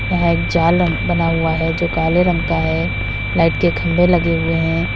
यह एक जाल बना हुआ है जो काले रंग का है लाइट के खंभे लगे हुए हैं।